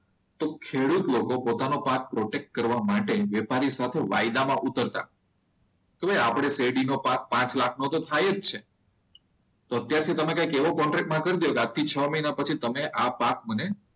તો ખેડૂત લોકો પોતાનો ભાગ પ્રોડક્ટ કરવા માટે વેપારી સાથે વાયદામાં ઉતરતા હોય. શું એ આપણે શેરડીનો પાક પાંચ લાખનો તો થાય જ છે. તો અત્યારથી તમે એવો કે કોન્ટ્રાક્ટ કરી દો. કે આજથી છ મહિના પછી આ ભાગ મને